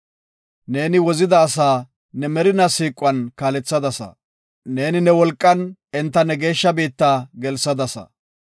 “Neeni wozida asaa ne merina siiquwan kaalethadasa. Neeni ne wolqan enta ne geeshsha biitta gelsadasa.